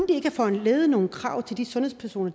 have foranlediget nogle krav til de sundhedspersoner